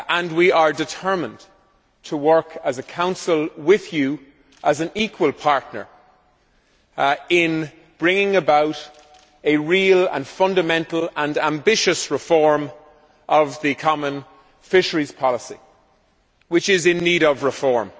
We are determined to work as a Council with you as an equal partner in bringing about a real, fundamental and ambitious reform of the common fisheries policy, which is in need of reform.